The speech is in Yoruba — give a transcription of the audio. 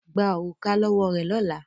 Gba òrùka lọ́wọ́ rẹ̀ lọ́la!